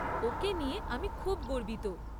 ওকে নিয়ে আমি খুব গর্বিত।